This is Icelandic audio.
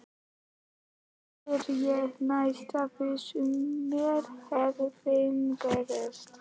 spyr ég, næstum viss um mér hafi misheyrst.